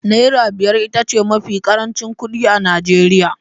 Naira biyar ita ce mafi ƙarancin kuɗi a Najeriya